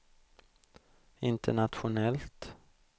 internationellt